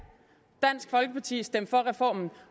dansk folkeparti stemte for reformen